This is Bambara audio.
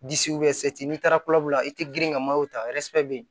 n'i taara kulobulu la i tɛ girin ka ta